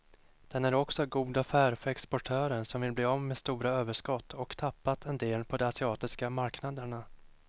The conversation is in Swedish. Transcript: Den är också god affär för exportörer som vill bli av med stora överskott och tappat en del på de asiatiska marknaderna.